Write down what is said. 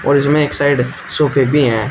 और इसमें एक साइड सोफे भी हैं।